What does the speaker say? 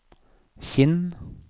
Kinn